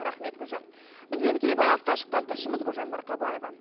рақмет гүлжан бізбен тікелей байланысқа шыққан тілшіміз гүлжан марқабаева